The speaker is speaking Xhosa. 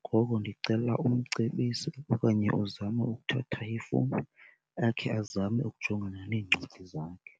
Ngoko ndicela umcebise okanye uzame ukuthatha ifowuni akhe azame ukujongana neencwadi zakhe.